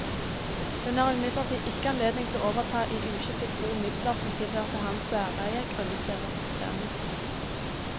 Hun har imidlertid ikke anledning til å overta i uskiftet bo midler som tilhørte hans særeie grunnet deres bestemmelser.